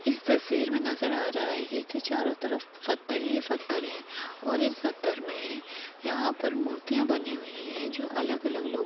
इस तस्वीर मे नज़र आ रहा है की चारो तरफ पत्थर ही पत्थर है और इस पत्थर में यहाँ पर मूर्तिया बनी हुई है जो अलग अलग लोग--